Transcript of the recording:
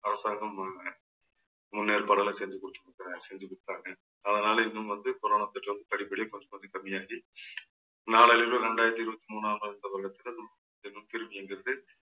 அரசாங்கம் ஆக முன்னேற்பாடெல்லாம் செஞ்சு செஞ்சு கொடுத்துட்டாங்க. அதனால இன்னும் வந்து corona தொற்று வந்து படிப்படியா கொஞ்சம் கொஞ்சம் கம்மியாகி நாளடைவில் இரண்டாயிரத்தி இருபத்தி மூணாவது இந்த வருடத்தில் இயங்குகிறது